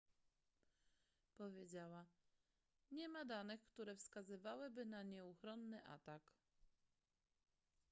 powiedziała nie ma danych które wskazywałyby na nieuchronny atak